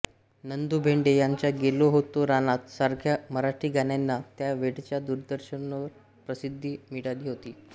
नंदू भेंडे यांच्या गेलो होतो रानात सारख्या मराठी गाण्यांना त्या वेळच्या दूरदर्शनवर प्रसिद्धी मिळाली होती